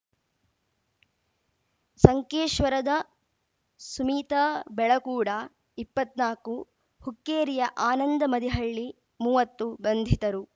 ಸಂಕೇಶ್ವರದ ಸುಮೀತ ಬೆಳಕೂಡ ಇಪ್ಪತ್ನಾಲ್ಕು ಹುಕ್ಕೇರಿಯ ಆನಂದ ಮದಿಹಳ್ಳಿ ಮೂವತ್ತು ಬಂಧಿತರು